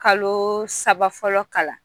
Kalo saba fɔlɔ kalan